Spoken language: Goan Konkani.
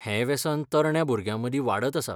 हें वेसन तरण्या भुरग्यांमदीं वाडत आसा.